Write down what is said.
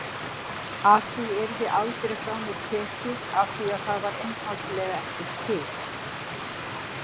Að það yrði aldrei frá mér tekið afþvíað það var einfaldlega ekki til.